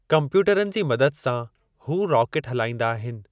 कम्प्यूटरनि जी मदद सां हू रॉकेट हलाईंदा आहिनि।